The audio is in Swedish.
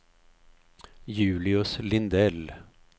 Julius Lindell